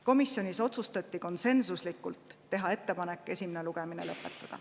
Komisjonis otsustati konsensuslikult teha ettepanek esimene lugemine lõpetada.